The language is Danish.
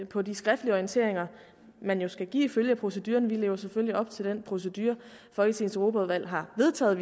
på de skriftlige orienteringer man jo skal give ifølge proceduren vi lever selvfølgelig op til den procedure folketingets europaudvalg har vedtaget